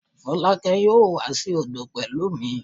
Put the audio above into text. Folake yoo wa si odo odo pẹlu mi